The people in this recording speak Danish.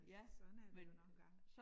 Øh sådan er det jo nogle gange